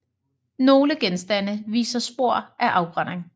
Nogle genstande viser spor af afbrænding